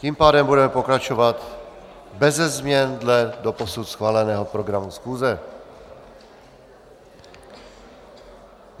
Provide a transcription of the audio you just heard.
Tím pádem budeme pokračovat beze změn dle doposud schváleného programu schůze.